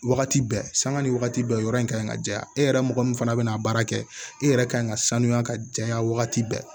Wagati bɛɛ sanga ni wagati bɛɛ yɔrɔ in ka ɲi ka jɛya e yɛrɛ mɔgɔ min fana bɛ n'a baara kɛ e yɛrɛ kan ka sanuya ka janya wagati bɛɛ